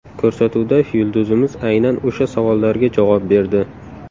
Ko‘rsatuvda yulduzimiz aynan o‘sha savollarga javob berdi.